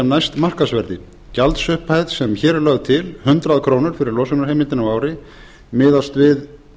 næst markaðsverði gjaldsupphæð sem hér er lögð til hundrað krónur fyrir losunarheimildina á ári miðast við